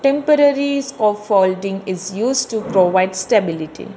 Temporaries of holding is used to provide stability.